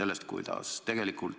Jürgen Ligi, täpsustav küsimus, palun!